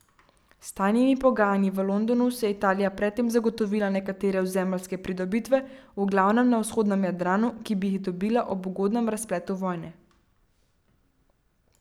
S tajnimi pogajanji v Londonu si je Italija pred tem zagotovila nekatere ozemeljske pridobitve, v glavnem na vzhodnem Jadranu, ki bi jih dobila ob ugodnem razpletu vojne.